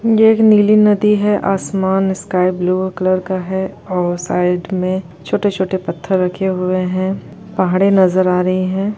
यह एक नीली नदी हैआसमान स्काई ब्लू कलर का है और साइड में छोटे-छोटे पत्थर रखे हुए है पहाड़े नजर आ रही है।